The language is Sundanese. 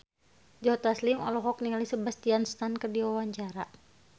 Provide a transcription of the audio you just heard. Joe Taslim olohok ningali Sebastian Stan keur diwawancara